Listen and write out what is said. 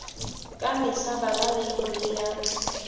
ka mehla bala leibole ya